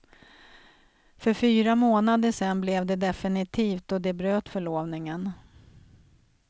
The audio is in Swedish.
För fyra månader sedan blev det definitivt och de bröt förlovningen.